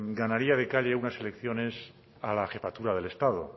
ganaría de calle unas elecciones a la jefatura del estado